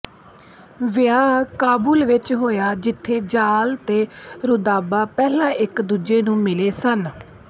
ਵਿਆਹ ਕਾਬੁਲ ਵਿੱਚ ਹੋਇਆ ਜਿੱਥੇ ਜ਼ਾਲ ਅਤੇ ਰੁਦਾਬਾ ਪਹਿਲਾਂ ਇਕਦੂਜੇ ਨੂੰ ਮਿਲੇ ਸਨ